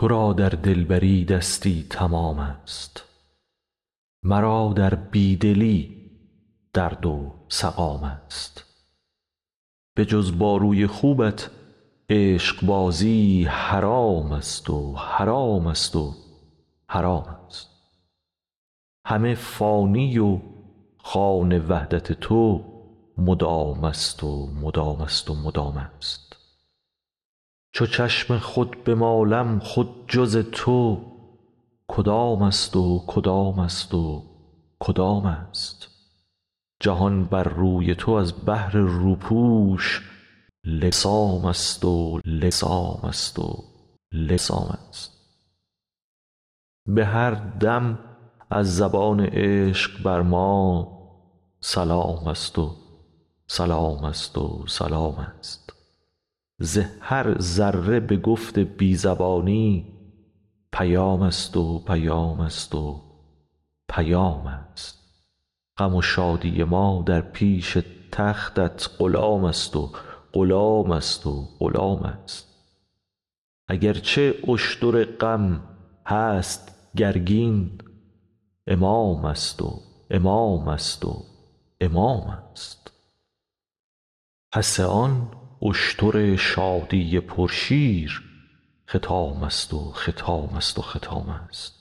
تو را در دلبری دستی تمامست مرا در بی دلی درد و سقامست بجز با روی خوبت عشقبازی حرامست و حرامست و حرامست همه فانی و خوان وحدت تو مدامست و مدامست و مدامست چو چشم خود بمالم خود جز تو کدامست و کدامست و کدامست جهان بر روی تو از بهر روپوش لثامست و لثامست و لثامست به هر دم از زبان عشق بر ما سلامست و سلامست و سلامست ز هر ذره به گفت بی زبانی پیامست و پیامست و پیامست غم و شادی ما در پیش تختت غلامست و غلامست و غلامست اگر چه اشتر غم هست گرگین امامست و امامست و امامست پس آن اشتر شادی پرشیر ختامست و ختامست و ختامست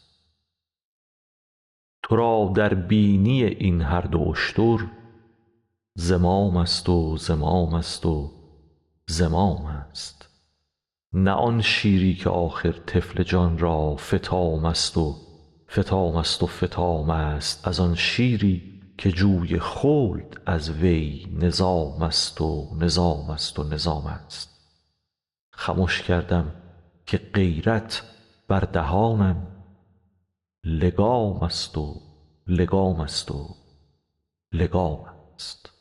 تو را در بینی این هر دو اشتر زمامست و زمامست و زمامست نه آن شیری که آخر طفل جان را فطامست و فطامست و فطامست از آن شیری که جوی خلد از وی نظامست و نظامست و نظامست خمش کردم که غیرت بر دهانم لگامست و لگامست و لگامست